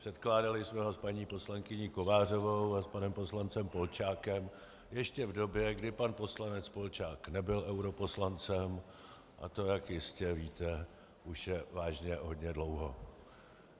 Předkládali jsme ho s paní poslankyní Kovářovou a s panem poslancem Polčákem ještě v době, kdy pan poslanec Polčák nebyl europoslancem, a to, jak jistě víte, je už vážně hodně dlouho.